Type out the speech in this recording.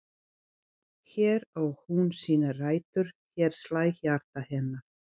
Hér á hún sínar rætur, hér slær hjarta hennar.